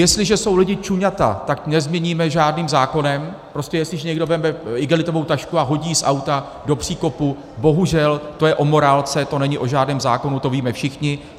Jestliže jsou lidi čuňata, tak nezměníme žádným zákonem, prostě jestliže někdo vezme igelitovou tašku a hodí ji z auta do příkopu, bohužel to je o morálce, to není o žádném zákonu, to víme všichni.